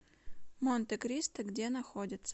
монтекристо где находится